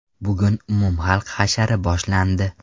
Bugun umumxalq hashari boshlandi.